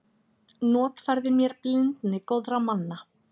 Notfærði mér blindni góðra manna.